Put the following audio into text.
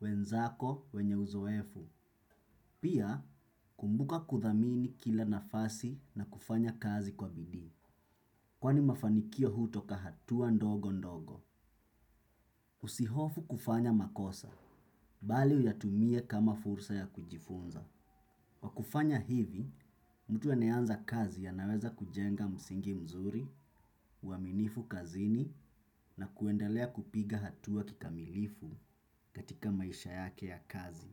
wenzako wenye uzoefu. Pia, kumbuka kuthamini kila nafasi na kufanya kazi kwa bidii. Kwani mafanikio hutoka hatua ndogo ndogo. Usihofu kufanya makosa, bali uyatumie kama fursa ya kujifunza. Kwa kufanya hivi, mtu anayeanza kazi anaweza kujenga msingi mzuri, uaminifu kazini na kuendelea kupiga hatua kikamilifu katika maisha yake ya kazi.